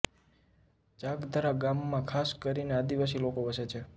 ચાકધરા ગામમાં ખાસ કરીને આદિવાસી લોકો વસે છે